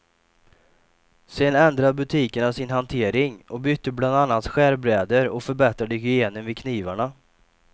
Sedan ändrade butikerna sin hantering och bytte bland annat skärbrädor och förbättrade hygienen vid knivarna.